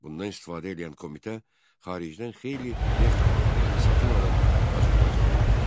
Bundan istifadə eləyən komitə xaricdən xeyli neft avadanlığı satın alıb Azərbaycana gətirdi.